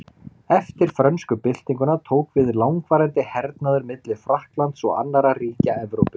Eftir frönsku byltinguna tók við langvarandi hernaður milli Frakklands og annarra ríkja Evrópu.